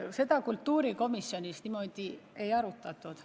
Seda kultuurikomisjonis ei arutatud.